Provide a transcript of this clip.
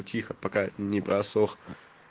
тихо пока не просох